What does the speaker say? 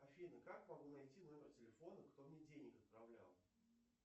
афина как могу найти номер телефона кто мне денег отправлял